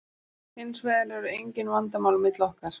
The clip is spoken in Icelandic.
Hins vegar eru engin vandamál á milli okkar.